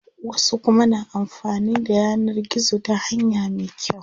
Wasu kuma na amfanin da yanar gizo ta hanya me kyau.